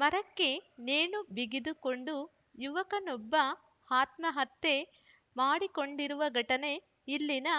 ಮರಕ್ಕೆ ನೇಣು ಬಿಗಿದುಕೊಂಡು ಯುವಕನೊಬ್ಬ ಆತ್ಮಹತ್ಯೆ ಮಾಡಿಕೊಂಡಿರುವ ಘಟನೆ ಇಲ್ಲಿನ